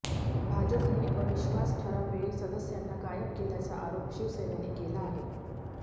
भाजपने अविश्वास ठरावावेळी सदस्यांना गायब केल्याचा आरोप शिवसेनेने केला आहे